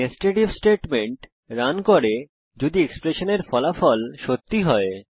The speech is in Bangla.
নেস্টেড ইফ স্টেটমেন্ট রান করে যদি এক্সপ্রেশনের ফলাফল সত্যি হয়